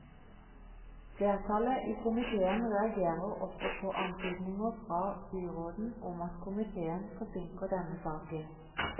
Flertallet i komitéen reagerer også på antydninger fra byråden om at komitéen forsinker denne saken.